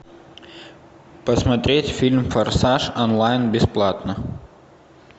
посмотреть фильм форсаж онлайн бесплатно